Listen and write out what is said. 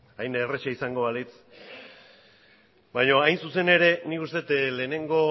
hain erraza izango balitz baina hain zuzen ere nik uste dut lehenengo